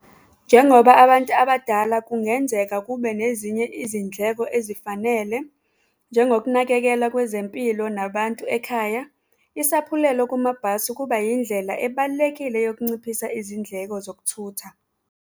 Njengoba abantu abadala kungenzeka kube nezinye izindleko ezifanele, njengokunakekela kwezempilo nabantu ekhaya, isaphulelo kumabhasi kuba yindlela ebalulekile yokunciphisa izindleko zokuthutha.